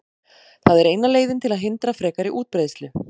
Það er eina leiðin til að hindra frekari útbreiðslu.